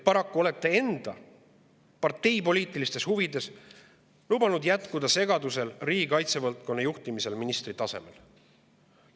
Paraku olete enda partei poliitilistes huvides lubanud jätkuda segadusel riigikaitse valdkonna juhtimises ministritasemel.